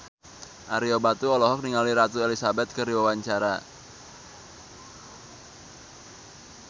Ario Batu olohok ningali Ratu Elizabeth keur diwawancara